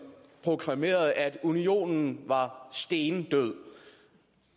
proklamerede at unionen var stendød